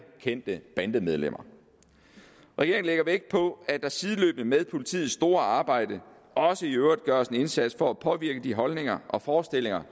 kendte bandemedlemmer regeringen lægger vægt på at der sideløbende med politiets store arbejde også i øvrigt gøres en indsats for at påvirke de holdninger og forestillinger